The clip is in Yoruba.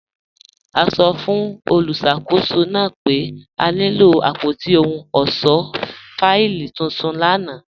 A sọ́ fun olúṣakòsó naa pe a nilo apótí òhùn ọṣọ́ fáìlì tuntun lána.